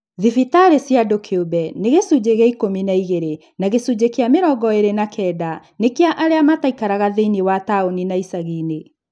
Thibitarĩ cia andũ kĩũmbe nĩ gĩcunjĩ kĩa ikũmi na igĩrĩ na gĩcunjĩ kĩa mĩrongo ĩĩrĩ na kenda nĩ kĩa arĩa mataikaraga thĩinĩ wa taũni na icagi-inĩ